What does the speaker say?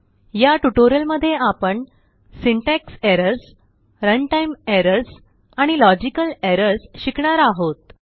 याटयूटोरिअल मध्येआपण syntax errors runtime errorsआणि logical errorsशिकणार आहोत